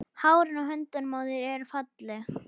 Hárin á höndunum á þér eru falleg.